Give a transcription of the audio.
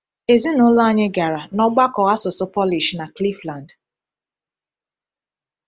Ezinụlọ anyị gara n’ọgbakọ asụsụ Polish na Cleveland.